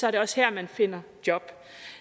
er det også her man finder job